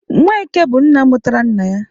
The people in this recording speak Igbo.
Nweke bụ nna mụtara nna ya.